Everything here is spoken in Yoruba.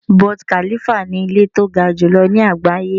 Burj Khalifa ni ilé tí ó ga jùlọ ní àgbáyé.